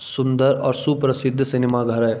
सुन्दर और सुप्रसिद्ध सिनेमा घर है।